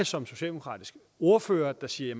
som socialdemokratisk ordfører siger